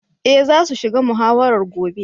Eh za su shiga muhawarar gobe.